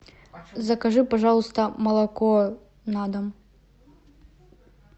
закажи пожалуйста молоко на дом